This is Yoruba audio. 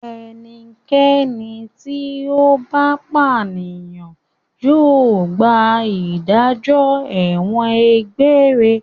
Ẹnikẹ́ni tí ó bá pànìyàn yóò gba ìdájọ́ ẹ̀wọ̀n egbére.